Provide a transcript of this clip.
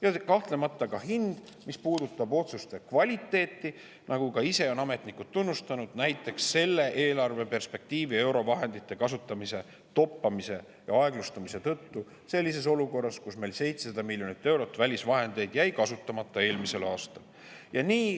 Ja kahtlemata ka hind, mis puudutab otsuste kvaliteeti, nagu on ametnikud ka ise tunnistanud näiteks selle eelarveperspektiivi eurovahendite kasutamise toppamise ja aeglustumise tõttu, olukorras, kus meil jäi eelmisel aastal 700 miljonit eurot välisvahendeid kasutamata.